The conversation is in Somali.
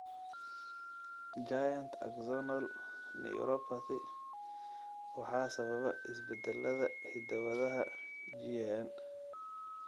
Giant axonal neuropathy waxaa sababa isbeddellada hidda-wadaha GAN.